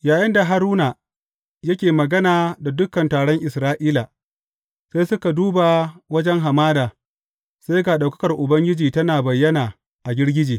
Yayinda Haruna yake magana da dukan taron Isra’ila, sai suka duba wajen hamada, sai ga ɗaukakar Ubangiji tana bayyana a girgije.